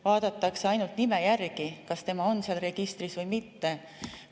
Vaadatakse ainult nime järgi, kas ta on seal registris või mitte.